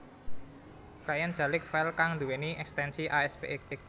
Client jalik file kang duwéni ekstensi aspx